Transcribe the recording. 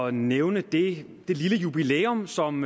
at nævne det det lille jubilæum som